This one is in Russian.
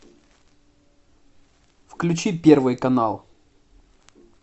включи первый канал